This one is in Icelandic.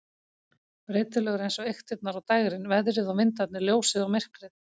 Breytilegur eins og eyktirnar og dægrin, veðrið og vindarnir, ljósið og myrkrið.